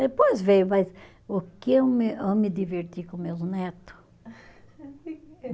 Depois veio, mas o que eu me, eu me diverti com meus neto?